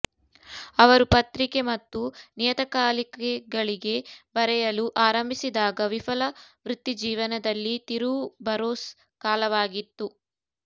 ಅವರು ಪತ್ರಿಕೆ ಮತ್ತು ನಿಯತಕಾಲಿಕೆಗಳಿಗೆ ಬರೆಯಲು ಆರಂಭಿಸಿದಾಗ ವಿಫಲ ವೃತ್ತಿಜೀವನದಲ್ಲಿ ತಿರುವು ಬರೋಸ್ ಕಾಲವಾಗಿತ್ತು